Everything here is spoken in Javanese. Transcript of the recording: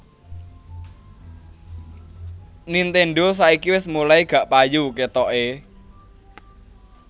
Nintendo saiki wes mulai gak payu ketoke